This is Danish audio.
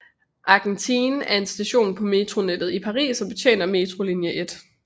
Argentine er en station på metronettet i Paris og betjener metrolinje 1